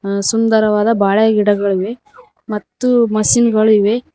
ಆ ಸುಂದರವಾದ ಬಾಳೆ ಗಿಡಗಳಿವೆ ಮತ್ತು ಮಷೀನ್ ಗಳು ಇವೆ.